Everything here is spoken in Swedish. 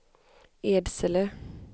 Edsele